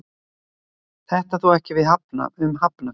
Þetta á þó ekki við um Hafnarfjörð.